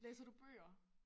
Læser du bøger?